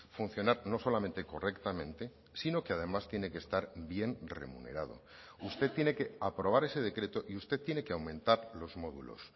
funcionar no solamente correctamente sino que además tiene que estar bien remunerado usted tiene que aprobar ese decreto y usted tiene que aumentar los módulos